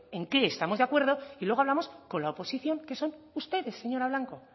en qué estamos de acuerdo y luego hablamos con la oposición que son ustedes señora blanco